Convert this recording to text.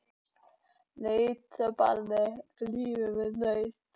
Nautabani glímir við naut.